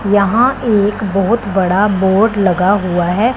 यहां एक बहोत बड़ा बोर्ड लगा हुआ है।